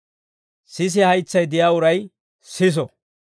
Sisiyaa haytsay de'iyaa uray siso.